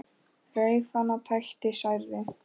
Reif hana, tætti, særði.